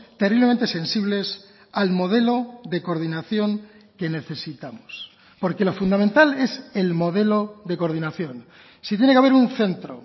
terriblemente sensibles al modelo de coordinación que necesitamos porque lo fundamental es el modelo de coordinación si tiene que haber un centro